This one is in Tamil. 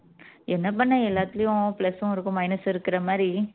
என்ன பண்ண எல்லாத்துலயும் plus உம் இருக்கும் minus உம் இருக்குற மாதிரி